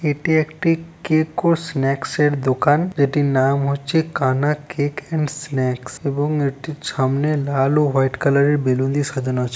এটি একটি কেক ও স্নাক্স এর দোকান যেটির নাম হচ্ছে কানা কেক এন্ড স্ন্যাকস এবং এটির সামনে লাল ও হোয়াইট কালারের বেলুন দিয়ে সাজানো আছে।